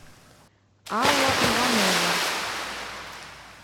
алла иванова